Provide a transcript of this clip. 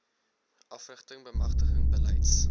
afrigting bemagtiging beleids